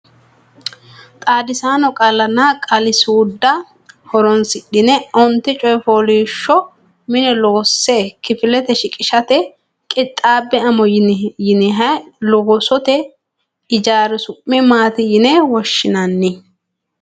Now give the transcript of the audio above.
Xaadisaano qaallanna qaali-suudda horonsidhanni onte coy fooliishsho mine loosse kifilete shiqishate qixxaabbe amo yeenahe loosot ijaari su'mi mati yine woshinani?